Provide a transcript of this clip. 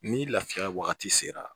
Ni lafiya wagati sera